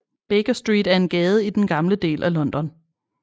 Baker Street er en gade i den gamle del af London